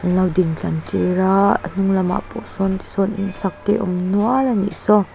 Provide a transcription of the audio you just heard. an lo din tlar tir aa a hnung lamah pawh sawn tisawn insak te a awm nual a nih saw.